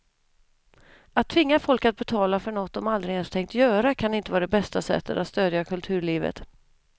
Att tvinga folk att betala för något de aldrig ens tänkt göra kan inte vara det bästa sättet att stödja kulturlivet.